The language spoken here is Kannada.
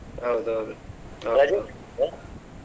ಹೌದೌದು .